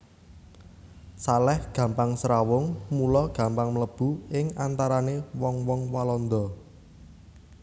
Salèh gampang srawung mula gampang mlebu ing antarané wong wong Walanda